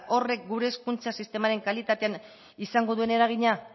horrek gure hezkuntza sistemaren kalitatean izango duen eragina